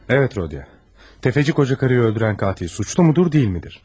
Bəli, Rodion, tefeci qoca qadını öldürən qatil günahkardırmı, yoxsa deyilmi?